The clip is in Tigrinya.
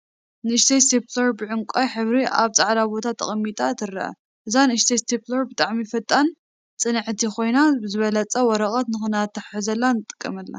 ንእሽተይ እስቴፕለር ብዕንቋይ ሕብሪ አብ ፃዕዳ ቦታ ተቀሚጣ ትርአ፡፡ እዛ ንእሽተይ እስቴፕለር ብጣዕሚ ፈጣንን ፅንዕቲን ኮይና ብዝበለፀ ወረቀት ንክትአተሓሕዘልና ንጥቀመላ፡፡